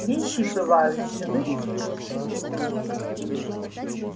вещи бываю живые и неживые